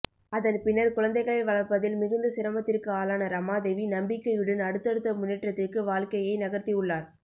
அதன் பின்னர் குழந்தைகளை வளர்ப்பதில் மிகுந்த சிரமத்திற்கு ஆளான ரமாதேவி நம்பிக்கையுடன் அடுத்தடுத்த முன்னேற்றத்திற்கு வாழ்க்கையை நகர்த்தி உள்ளார்